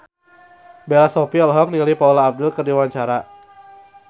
Bella Shofie olohok ningali Paula Abdul keur diwawancara